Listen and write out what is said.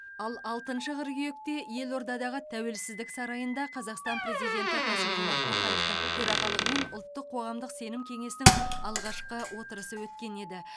ал алтыншы қыркүйекте елордадағы тәуелсіздік сарайында қазақстан президенті қасым жомарт тоқаевтың төрағалығымен ұлттық қоғамдық сенім кеңесінің алғашқы отырысы өткен еді